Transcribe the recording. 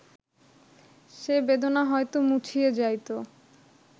সে বেদনা হয়ত মুছিয়া যাইত